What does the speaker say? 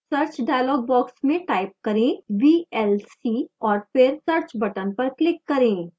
search dialog box में type करें vlc और फिर search button पर click करें